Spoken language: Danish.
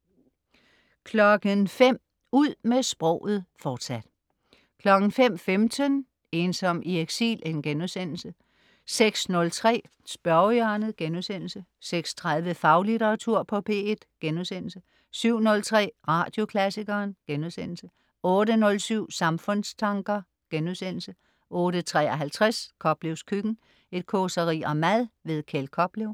05.00 Ud med sproget, fortsat 05.15 Ensom i eksil* 06.03 Spørgehjørnet* 06.30 Faglitteratur på P1* 07.03 Radioklassikeren* 08.07 Samfundstanker* 08.53 Koplevs køkken. Et causeri om mad. Kjeld Koplev